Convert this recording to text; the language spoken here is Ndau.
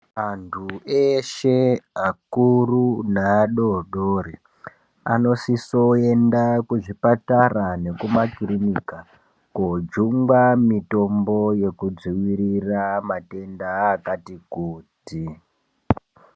Antu eshe akuru neadodori, anosisoenda kuzvipatara nekumakirinika, koojungwa mitombo yekudziirira matenda akati kuti.